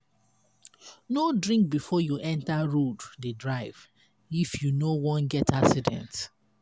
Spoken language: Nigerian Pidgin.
no drink before you enter road dey drive if you no wan get accident.